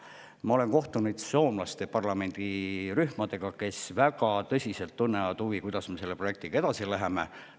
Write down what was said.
Ma olen kohtunud soomlaste parlamendirühmadega, kes väga tõsiselt tunnevad huvi, kuidas me selle projektiga edasi läheme.